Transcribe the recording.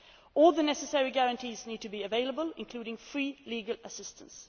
All the necessary guarantees need to be available, including free legal assistance.